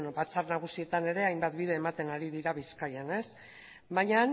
batzar nagusietan ere hainbat bide ematen ari dira bizkaian ez baina